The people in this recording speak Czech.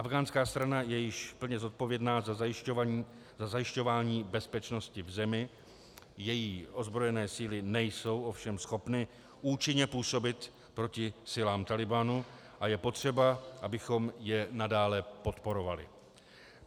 Afghánská strana je již plně zodpovědná za zajišťování bezpečnosti v zemi, její ozbrojené síly nejsou ovšem schopny účinně působit proti silám Talibanu a je potřeba, abychom je nadále podporovali.